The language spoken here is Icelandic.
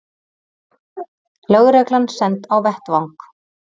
Lögreglan send á vettvang